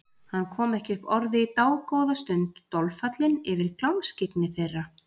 Hann kom ekki upp orði í dágóða stund, dolfallinn yfir glámskyggni þeirra.